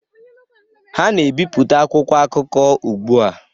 Ha na-ebipụta akwụkwọ akụkọ ugbu a